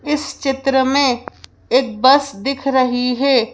इस चित्र में एक बस दिख रही है।